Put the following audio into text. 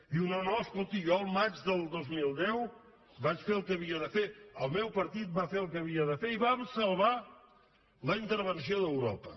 diu no no escolti jo el maig del dos mil deu vaig fer el que havia de fer el meu partit va fer el que havia de fer i vam salvar la intervenció d’europa